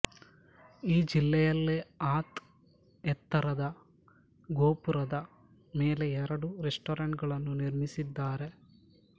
ಈ ಜಿಲ್ಲೆಯಲ್ಲೇ ಅತ್ ಎತ್ತರದ ಗೋಪುರದ ಮೇಲೆ ಎರಡು ರೆಸ್ಟಾರೆಂಟ್ ಗಳನ್ನು ನಿರ್ಮಿಸಿದ್ದಾರೆ